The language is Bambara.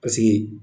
Paseke